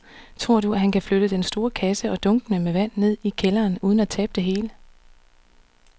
Tror du, at han kan flytte den store kasse og dunkene med vand ned i kælderen uden at tabe det hele?